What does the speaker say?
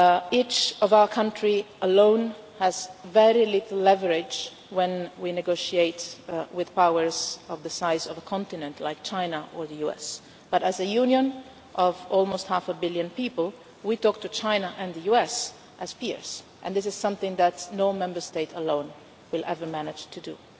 Each of our countries alone has very little leverage when we negotiate with powers the size of a continent like China or the US, but as a Union of almost half a billion people, we talk to China and the US as peers and this is something that no Member State alone will ever manage to